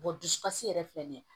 dusukasi yɛrɛ filɛ nin ye